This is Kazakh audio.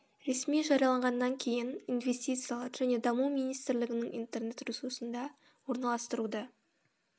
ресми жарияланғаннан кейін инвестициялар және даму министрлігінің интернет ресурсында орналастыруды